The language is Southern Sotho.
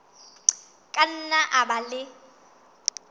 ka nna a ba le